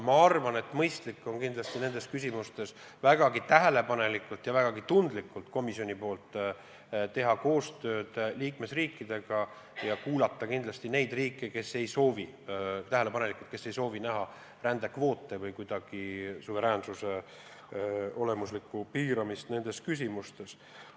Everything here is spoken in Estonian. Ma arvan, et komisjonil on kindlasti mõistlik nendes küsimustes vägagi tähelepanelikult ja vägagi tundlikult teha koostööd liikmesriikidega ja kuulata hoolega kindlasti ka neid riike, kes ei soovi rändekvoote või muul viisil suveräänsuse olemuslikku piiramist nendes küsimustes.